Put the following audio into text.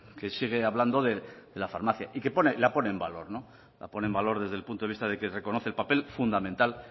que sigue hablando de la farmacia y que la pone en valor la pone en valor desde el punto de vista de que reconoce el papel fundamental